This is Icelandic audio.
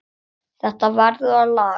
Þetta verður að laga.